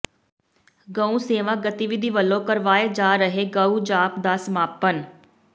ਗਊ ਸੇਵਾ ਗਤੀਵਿਧੀ ਵੱਲੋਂ ਕਰਵਾਏ ਜਾ ਰਹੇ ਗਊ ਜਾਪ ਦਾ ਸਮਾਪਨ